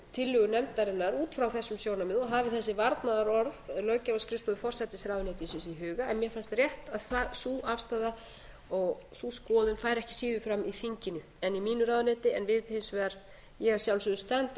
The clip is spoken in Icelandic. tillögu nefndarinnar út frá þessu sjónarmiði og hafi þessi varnaðarorð löggjafarskrifstofu forsætisráðuneytisins í huga en mér fannst rétt að sú afstaða og sú skoðun færi ekki síður fram í þinginu en í mínu ráðuneyti en ég að sjálfsögðu stend á